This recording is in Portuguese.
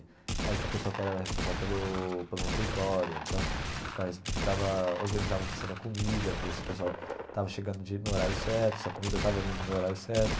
Aí tinha o pessoal que era responsável pelo pelo refeitório, então ficava ficava organizava a questão da comida, ver se o pessoal estava chegando no horário certo, se a comida estava vindo no horário certo.